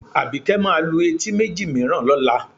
Àbíkẹ́ máa lu etí méjì mìíràn lọ́la